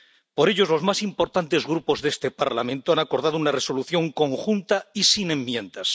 Por ello, los más importantes grupos de este Parlamento han acordado una Resolución conjunta y sin enmiendas.